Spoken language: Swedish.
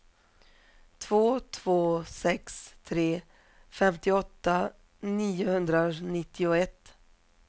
två två sex tre femtioåtta niohundranittioett